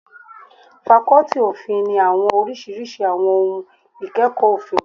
Fakọ́tì òfin ní àwọn oríṣiríṣi àwọn ohun ìkẹ́kọ̀ọ́ òfin.